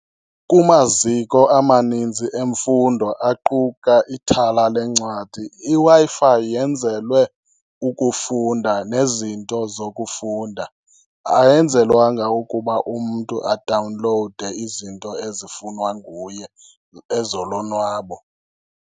Kumaziko amaninzi emfundo aquka ithala lencwadi, iWi-Fi yenzelwe ukufunda nezinto zokufunda. Ayenzelwanga ukuba umntu adawunlowude izinto ezifunwa nguye ezolonwabo.